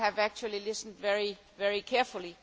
I have actually listened very carefully.